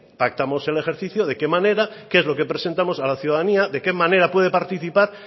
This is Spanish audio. pactamos el ejercicio de qué manera qué es lo que presentamos a la ciudadanía de qué manera puede participar